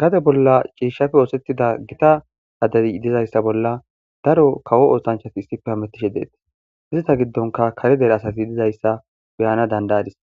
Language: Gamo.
Gade bolla ciishshappe ooththetida gita adey dizayssa bolla daro kawo oosanchchati issippe hametishe deettes. Izeta giddonkka kare dere asati dizayssa be'ana danda'adis.